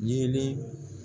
Yelen